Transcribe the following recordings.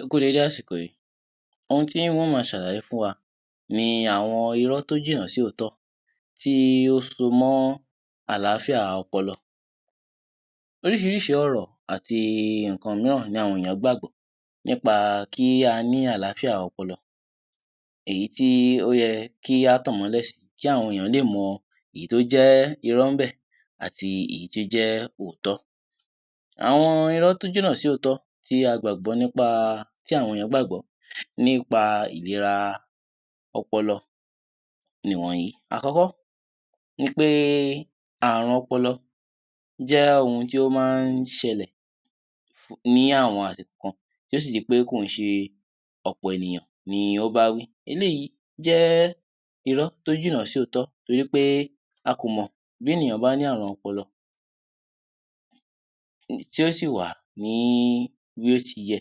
Ẹ kú dédé àsìkò yìí, ohun tí mo má ṣàlàyé fún wa ni àwọn irọ́ tí ó jìnà sí òótọ́ tí ó so mọ́ àlàáfíà ọpọlọ. Oríṣiríṣi ọ̀rọ̀ àti nǹkan mìíràn ni àwọn ènìyàn gbàgbọ́ nípa kí a ní àlàáfíà ọpọlọ èyí tí ó yẹ kí a tan ìmọ́lẹ̀ sì kí àwọn ènìyàn lè mọ èyí tí ó jẹ́ irọ́ níbẹ̀ àti èyí tí ó jẹ́ òótọ́. Àwọn irọ́ tí ó jìnà sí òótọ́ tí a gbàgbọ́ nípa tí àwọn ènìyàn gbàgbọ́ nípa ìléra ọpọlọ ni wọ̀nyìí. Àkọ́kọ́ ni pé àrùn ọpọlọ jẹ́ ohun tí ó máa ń ṣẹlẹ̀ ní àwọn àsìkò kan tí ó sì di pé ọ̀pọ̀ ènìyàn ni ó bá wí eléyìí jẹ́ irọ́ tí ó jìnà sí òótọ́ nítorí pé a kò mọ̀ bí ènìyàn bá ní àrùn ọpọlọ tí ó sì wà ní bí ó ṣe yẹ,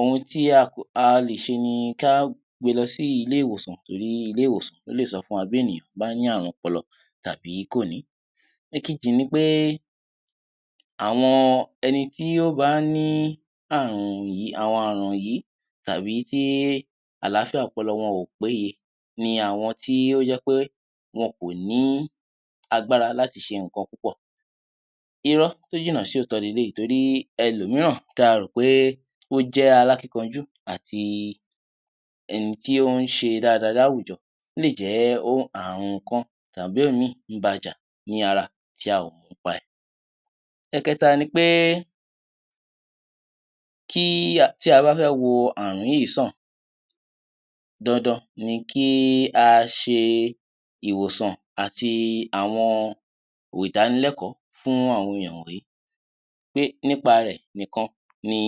ohun tí a lè ṣe ni kí a gbe lọ sí ilé-ìwòsàn torí ilé-ìwòsàn lọ lè sọ fún wa tí ènìyàn bá ní àrùn ọpọlọ tàbí kò ní. Ẹ̀kejì ni pé àwọn ẹni tí ó bá ní àwọn àrùn yìí tàbí tí àlàáfíà ọpọlọ wọn kò péye ni àwọn tí ó jẹ pe wọ̀n kò ní agbára láti ṣe nǹkan púpọ̀ irọ́ tí ó jìnà sí òótọ́ ni eléyìí nítorí ẹlò mìíràn tí a rò pé alákínkanjú àti ẹni tí ó ń ṣe dada láwùjọ lè jẹ́ pé àrùn kan tàbí òmí ń ba jà ní ara tí a ò mọ̀ nípa rẹ̀. Ẹ̀kẹ́ta ni pé tí a bá fẹ́ wo àrùn yìí sàn, dandan ni kí a ṣe ìwòsàn àti àwọn ìdánilẹ́kọ̀ọ́ fún àwọn èèyàn wọ̀nyìí nípa rẹ̀ nìkan ni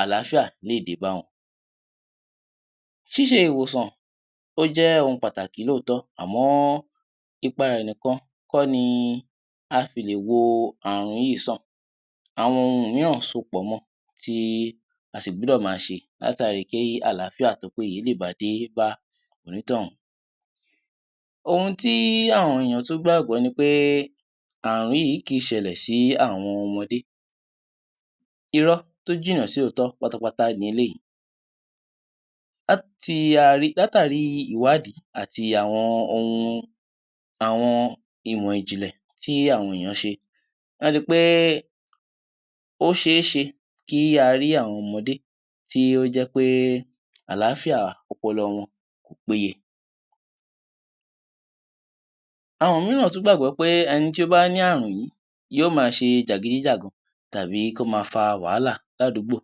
àlàáfíà lè dé bá wọn, ṣíṣe ìwòsàn ṣe pàtàkì lóòótán àmọ́ ipa rẹ̀ nìkan kọ́ ni a fi lè wo àrùn yìí sàn àwọn ohun mìíràn so pọ̀ mọ tí a sì gbọ́dọ̀ ma ṣe látàrí kí àlàáfíà tí ó péye lè dé bá onítọ̀hún ohun tí àwọn ènìyàn tún gbàgbọ́ ni pé àrùn yìí kì í ṣẹlẹ̀ sí àwọn ọmọdé, irọ́ tí ó jìnà sí òótọ́ pátápátá ni eléyìí látàrí ìwádìí àti àwọn ohun ìmọ̀ ìjìnlẹ̀ tí àwọn ènìyàn ṣe la ri pé ó ṣééṣe kí a rí àwọn ọmọdé tí ó jẹ́ pé àlàáfíà ọpọlọ wọn kò péye. Àwọn mìíràn tún gbàgbọ́ pé ẹni tí ó bá ní àrùn yìí yóò ma ṣe jàgídí jàgan tàbí kí ó ma fa wàhálà ní àdúgbò,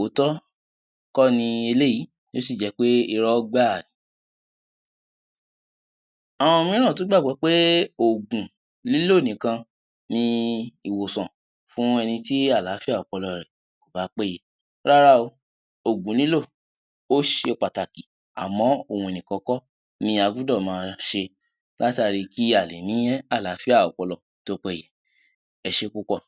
òótọ́ kó ni eléyìí ó sì jẹ́ pé irọ́ gbá à. Awkn mìíràn tún gbàgbọ́ pé òògùn lílò nìkan ní ìwòsàn fún ẹni tí àlàáfíà ọpọlọ rẹ̀ kò bá péye rárá o, òògùn lílò ó ṣe pàtàkì àmọ́ ohun nìkan kọ́ ni a gbọ́dọ̀ ma ṣe àtàrí kí a lè ní àlàáfíà ọpọlọ tí ó péye. Ẹ ṣé púpọ̀.